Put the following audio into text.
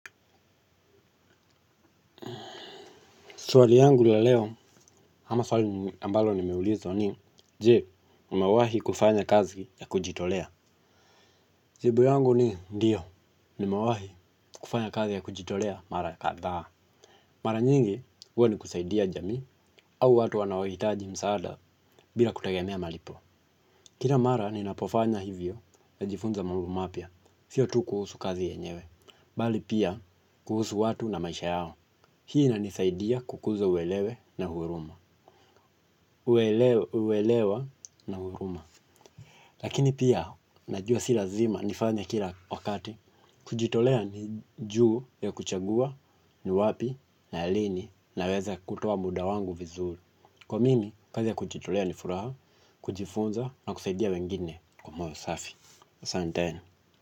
Swali langu la leo ama swali ambalo nimeulizwa ni je umawahi kufanya kazi ya kujitolea jibu yangu ni ndiyo nimewahi kufanya kazi ya kujitolea mara kadhaa mara nyingi huwa ni kusaidia jamii au watu wanao hitaji msaada bila kutagemea malipo kina mara ninapofanya hivyo najifunza mambo mapya siyo tu kuhusu kazi yenyewe bali pia kuhusu watu na maisha yao hii ina nisaidia kukuza uelewa na huruma uelewa na huruma lakini pia najua si lazima nifanye kila wakati kujitolea ni juu ya kuchagua ni wapi na lini naweza kutoa muda wangu vizuri kwa mimi, kazi ya kujitolea ni furaha, kujifunza na kusaidia wengine kwa moyo safi asanteni.